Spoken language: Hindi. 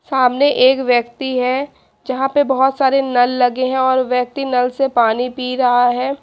सामने एक व्यक्ती है जहां पे बहोत सारे नल लगे हैं और व्यक्ति नल से पानी पी रहा है।